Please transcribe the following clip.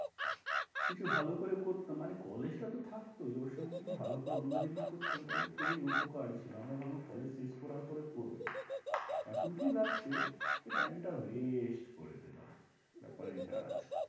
কিছু ভালো করে করতাম মানে college টা তো থাকতই ওর সঙ্গে কিছু ভালো করে অন্য জিনিস করতাম তাহলে খুবই উপকার ছিল, আমরা ভাবলাম college শেষ করার পরে করবো, এখন কি লাগছে যে time waste করে দিলাম।